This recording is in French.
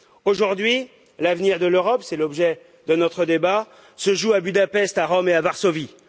Aujourd'hui, l'avenir de l'Europe, c'est l'objet de notre débat, se joue à Budapest, à Rome et à Varsovie.